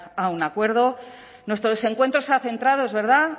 a un acuerdo nuestro desencuentro se ha centrado es verdad